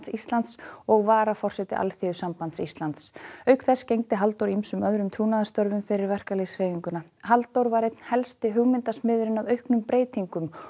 Íslands og varaforseti Alþýðusambands Íslands auk þess gegndi Halldór ýmsum öðrum trúnaðarstörfum fyrir verkalýðshreyfinguna Halldór var einn helsti hugmyndasmiðurinn að miklum breytingum